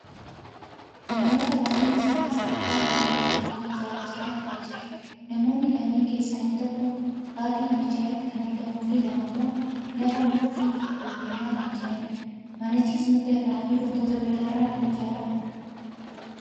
namoota baayyinni isaanii sadi ta'an kan mana jireenyaa ijaaraa jiran argaa jirra. Namoonni kanneen keessaa inni tokko baaxii manichaarratti kan argamuufi lama ammoo lafaa muka itti ol kennaa kan jiranidha. manichis muka irraa fi wantoota biraa irraa kan ijaarramudha.